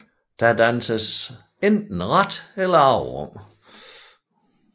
Der danses enten ret eller avet om